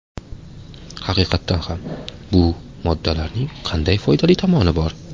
Haqiqatan ham, bu moddalarning qanday foydali tomoni bor?